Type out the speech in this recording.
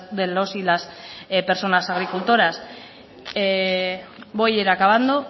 de los y las personas agriculturas voy a ir acabando